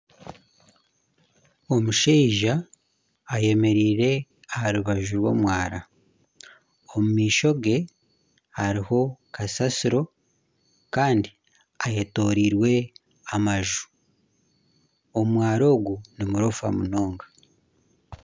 Omushaija ayemereire aha rubaju rw'omwaara, omu maisho gye hariho kasasiro Kandi ayetoreirwe amaju ,omwaara ogu n'omurofa munonga.